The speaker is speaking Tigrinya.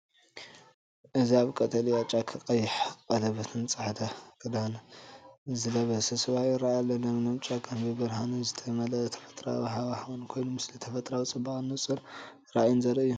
እዚ ኣብ ቀጠልያ ጫካ ቀይሕ ቀለቤትን ጻዕዳ ክዳንን ዝለበሰ ሰብኣይ ይረአ ኣሎ። ለምለም ጫካን ብብርሃን ዝተመልአ ተፈጥሮኣዊ ሃዋህውን ኮይኑ፣ ምስሊ ተፈጥሮኣዊ ጽባቐን ንጹር ራእይን ዘርኢ እዩ።